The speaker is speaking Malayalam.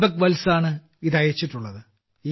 ദീപക്വത്സായാണ് ഇത് അയച്ചിട്ടുള്ളത്